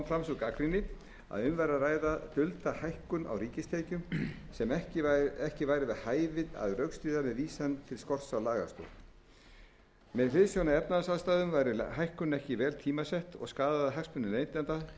sú gagnrýni að um væri að ræða dulda hækkun á ríkistekjum sem ekki væri við hæfi að rökstyðja með vísan til skorts á lagastoð með hliðsjón af efnahagsaðstæðum væri hækkunin ekki vel tímasett og skaðaði hagsmuni neytenda